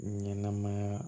Ɲɛnɛmaya